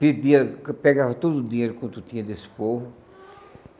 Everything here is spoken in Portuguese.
pedia pegava todo o dinheiro quanto tinha desse povo.